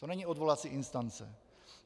To není odvolací instance.